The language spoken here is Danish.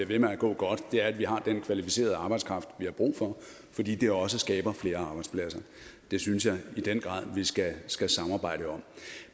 ved med at gå godt er at vi har den kvalificerede arbejdskraft vi har brug for fordi det også skaber flere arbejdspladser det synes jeg i den grad vi skal skal samarbejde om